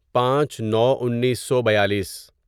پانچ نو انیسو بیالیس